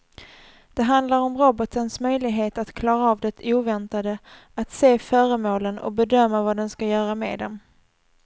Det handlar om robotens möjlighet att klara av det oväntade, att se föremålen och bedöma vad den ska göra med dem.